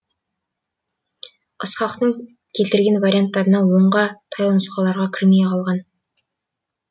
ысқақтың келтірген варианттарына онға таяу нұсқаларға кірмей қалған